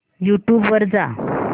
YouTube वर जा